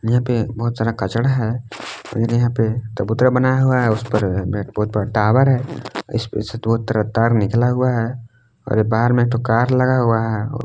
यहां पे बहुत सारा कचड़ा है और यहीं पे चबूतरा बनाया हुआ है उसपे टावर है उसे दोनों तरफ तार निकला हुआ है और बाग में एक ठो कार लगा हुआ है।